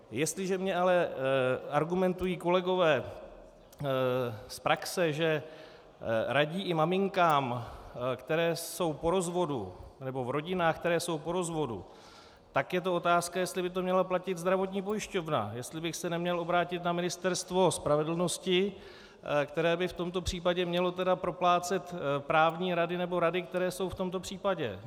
Jestliže mi ale argumentují kolegové z praxe, že radí i maminkám, které jsou po rozvodu, nebo v rodinách, které jsou po rozvodu, tak je to otázka, jestli by to měla platit zdravotní pojišťovna, jestli bych se neměl obrátit na Ministerstvo spravedlnosti, které by v tomto případě tedy mělo proplácet právní rady nebo rady, které jsou v tomto případě.